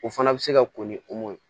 O fana bɛ se ka ko ni ye